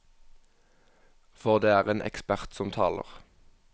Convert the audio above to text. For det er en ekspert som taler.